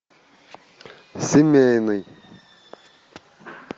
семейный